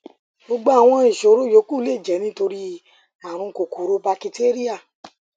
gbogbo àwọn ìṣòro yòókù lè jẹ nítorí ààrùn kòkòrò bakitéríà